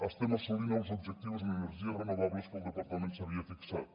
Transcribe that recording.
estem assolint els objectius en energies renovables que el departament s’havia fixat